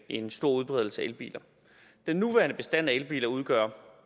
en stor udbredelse af elbiler den nuværende bestand af elbiler udgør